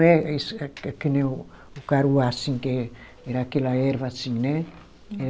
é que nem o o caruá, assim, que é era aquela erva assim, né? É